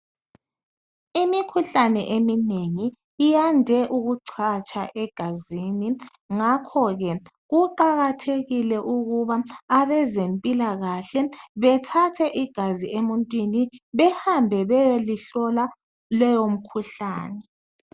Imikhuhlane eminengi iyande ukucatsha egazini ngakho ke kuqakathekile ukuba abezempilakahle bethathe igazi emuntwini bahambe beyelihlola leyo mkhuhlane